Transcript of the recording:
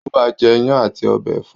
Ó máa je iyán àti ọbẹ̀ ẹ̀fọ́